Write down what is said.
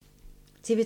TV 2